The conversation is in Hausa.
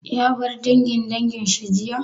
Ya bar dangin dangin shi jiya?